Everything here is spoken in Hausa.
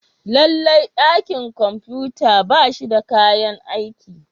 Lallai dakin kwamfuta ba shi da kayan aiki.